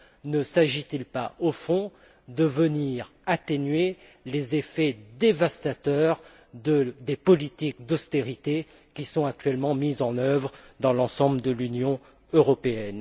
Ne s'agit il pas de venir atténuer les effets dévastateurs des politiques d'austérité qui sont actuellement mises en œuvre dans l'ensemble de l'Union européenne?